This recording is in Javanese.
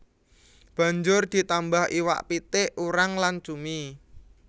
Banjur ditambah iwak pitik urang lan cumi